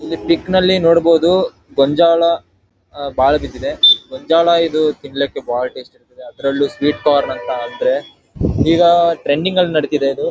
ಈ ಪಿಕ್ ನಲ್ಲಿ ಬಂಜಳ ಬಹಳ ಬಿದ್ದಿದೆ ಬಂಜಳ ಇದು ತಿನ್ಲಿಕ್ಕೆ ಬಹಳ ಟೇಸ್ಟ್ ಇರುತ್ತದೆ ಅದ್ರಲ್ಲೂ ಸ್ವೀಟ್ ಕಾರ್ನ್ ಅಂತ ಅಂದ್ರೆ ಇದಿಗ ಟ್ರೆಂಡಿಗ ನಲ್ಲಿ ನಡಿದೆ ಇದು.